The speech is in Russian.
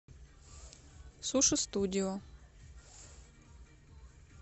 суши студио